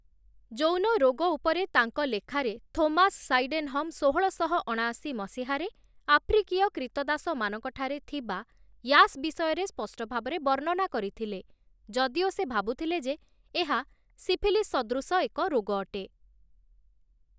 ଯୌନ ରୋଗ ଉପରେ ତାଙ୍କ ଲେଖାରେ ଥୋମାସ୍ ସାଇଡେନହମ୍, ଷୋହଳଶହ ଅଣାଅଶୀ ମସିହାରେ ଆଫ୍ରିକୀୟ କ୍ରୀତଦାସମାନଙ୍କ ଠାରେ ଥିବା ୟାସ୍ ବିଷୟରେ ସ୍ପଷ୍ଟ ଭାବରେ ବର୍ଣ୍ଣନା କରିଥିଲେ, ଯଦିଓ ସେ ଭାବୁଥିଲେ ଯେ, ଏହା ସିଫିଲିସ୍ ସଦୃଶ ଏକ ରୋଗ ଅଟେ ।